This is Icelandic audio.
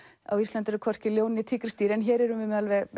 á Íslandi eru hvorki ljón né tígrisdýr en hér erum við með